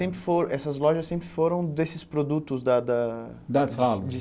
Sempre foram essas lojas sempre foram desses produtos da da Da sala?